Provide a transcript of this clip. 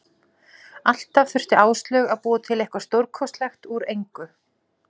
Alltaf þurfti Áslaug að búa til eitthvað stórkostlegt úr engu.